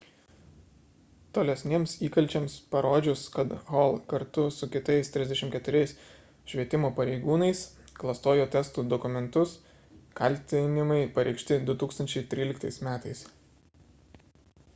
tolesniems įkalčiams parodžius kad hall kartu su kitais 34 švietimo pareigūnais klastojo testų dokumentus kaltinimai pareikšti 2013 m